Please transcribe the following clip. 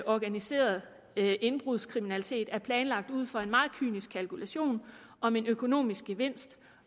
organiseret indbrudskriminalitet er planlagt ud fra en meget kynisk kalkulation om en økonomisk gevinst